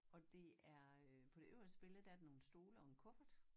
Og det er øh på det øverste billede der er der nogen stole og en kuffert